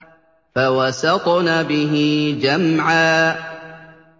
فَوَسَطْنَ بِهِ جَمْعًا